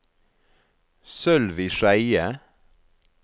Sølvi Skeie